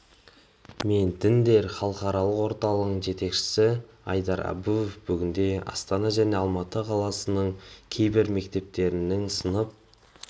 мен діндер халықаралық орталығының жетекшісі айдар абуов бүгінде астана және алматы қалаларының кейбір мектептерінің сынып